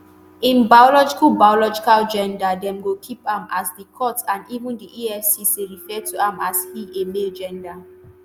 im biological biological gender dem go keep am as di court and even di efcc refer to am as 'he'- a male gender.